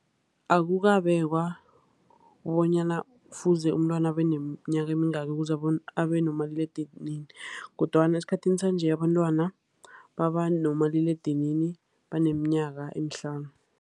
Akukabekwa bonyana kufuze umntwana abe neminyaka emingaki ukuze bona abe nomaliledinini. Kodwana esikhathini sanje, abantwana baba nomaliledinini baneminyaka emihlanu.